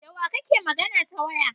Dawa kake magana ta waya?